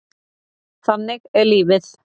Þannig er lífið.